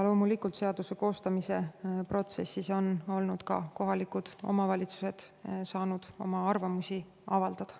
Loomulikult on ka kohalikud omavalitsused saanud seaduse koostamise protsessis oma arvamust avaldada.